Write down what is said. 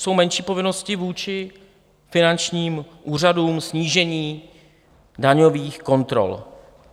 jsou menší povinnosti vůči finančním úřadům, snížení daňových kontrol.